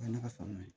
O ye ne ka faama ye